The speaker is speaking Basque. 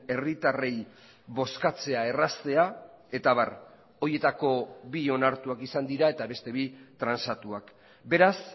herritarrei bozkatzea erraztea eta abar horietako bi onartuak izan dira eta beste bi transatuak beraz